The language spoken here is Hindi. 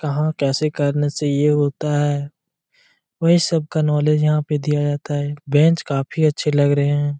कहां कैसे करने से ये होता है वही सब का नॉलेज यहाँ पे दिया जाता है बेंच काफी अच्छे लग रहे है।